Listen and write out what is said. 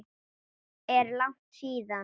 Er langt síðan?